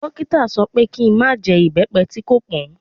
Dókítà sọ pé kí i má jẹ ibepe tí kò pọn.